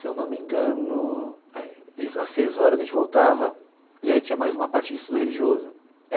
Se eu não me engano é, às seis horas a gente voltava e aí tinha mais uma parte de estudo religioso.